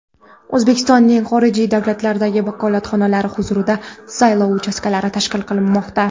O‘zbekistonning xorijiy davlatlardagi vakolatxonalari huzurida saylov uchastkalari tashkil qilinmoqda.